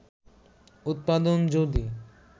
উৎপাদন যদি